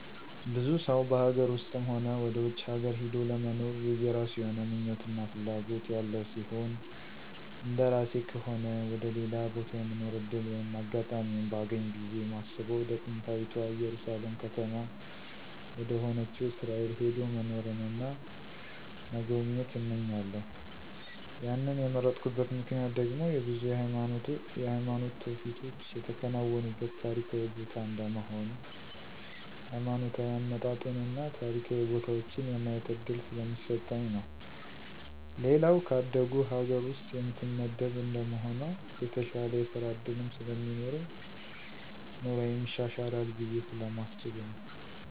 ብዙ ሰው በሀገር ውስጥም ሆነ ወደ ውጭ ሀገር ሂዶ ለመኖር የየራሱ የሆነ ምኞት እና ፍላጎት ያለው ሲሆን እንደራሴ ከሆነ ወደ ሌላ ቦታ የመኖር ዕድል ወይም አጋጣሚውን ባገኝ ብየ ማስበው ወደ ጥንታዊታ እየሩሳሌም ከተማ ወደሆነችው እስራኤል ሄዶ መኖርን እና መጎብኘት እመኛለሁ ያንን የመረጥኩበት ምክንያት ደግሞ ብዙ የሃይማኖት ትውፊቶች የተከናወኑበት ታሪካዊ ቦታ እንደመሆኑ ሀይማኖታዊ አመጣጡን እና ታሪካዊ ቦታዎችን የማየት እድል ስለሚሰጠኝ ነው። ሌላው ከአደጉ ሀገር ውስጥ የምትመደብ እንደመሆኗ የተሻለ የስራ ዕድልም ስለሚኖረኝ ኑሮየም ይሻሻላል ብየ ስለማስብ ነው።